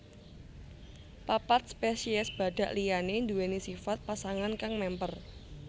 Papat spesies badhak liyané nduwèni sifat pasangan kang mémper